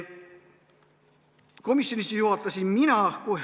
Komisjoni istungit juhatasin mina.